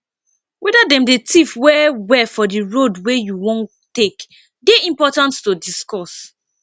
weda dem dey thief well well for di road wey you wan take dey important to discuss